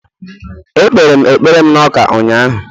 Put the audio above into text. Ekpere m ekpere m na Ụka ụka ụnyahụ